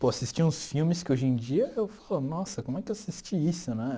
Pô, assisti uns filmes que hoje em dia eu falo, nossa, como é que eu assisti isso, né?